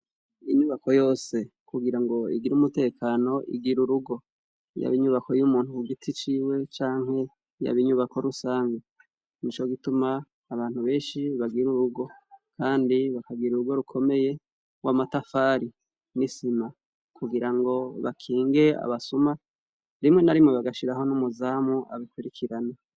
Inyubako yose kugira ngo igira umutekano igira urugo yaba inyubako y'umuntu ku giti ciwe canke yaba inyubako rusange ni co gituma abantu benshi bagira urugo, kandi bakagira urugo rukomeye wo amatafari nisima kugira ngo bakinge abasuma rimwe na rimwe bagashiraho n'umuzamu abikurikirana.